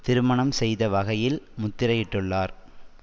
திருமணம் செய்த வகையில் முத்திரையிட்டுள்ளார்